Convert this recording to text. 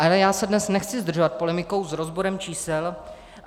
Ale já se dnes nechci zdržovat polemikou s rozborem čísel.